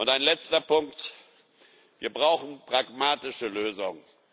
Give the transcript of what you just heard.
Ein letzter Punkt Wir brauchen pragmatische Lösungen.